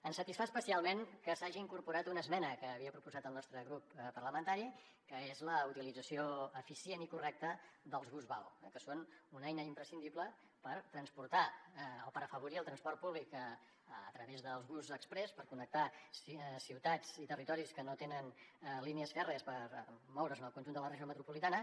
ens satisfà especialment que s’hagi incorporat una esmena que havia proposat el nostre grup parlamentari que és la utilització eficient i correcta dels bus vao que són una eina imprescindible per afavorir el transport públic a través dels busos exprés per connectar ciutats i territoris que no tenen línies fèrries per moure’s en el conjunt de la regió metropolitana